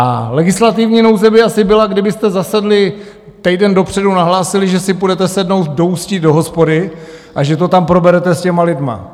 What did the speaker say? A legislativní nouze by asi byla, kdybyste zasedli týden dopředu, nahlásili, že si půjdete sednout do Ústí do hospody a že to tam proberete s těmi lidmi.